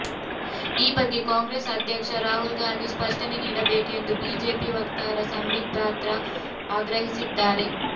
ಈ ಬಗ್ಗೆ ಕಾಂಗ್ರೆಸ್ ಅಧ್ಯಕ್ಷ ರಾಹುಲ್ ಗಾಂಧಿ ಸ್ಪಷ್ಟನೆ ನೀಡಬೇಕು ಎಂದು ಬಿಜೆಪಿ ವಕ್ತಾರ ಸಂಬಿತ್ ಪಾತ್ರಾ ಆಗ್ರಹಿಸಿದ್ದಾರೆ